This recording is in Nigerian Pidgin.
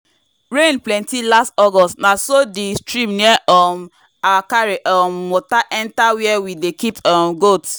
rain plenty last august na so the stream near um our carry um water enter where we dey keep um goat.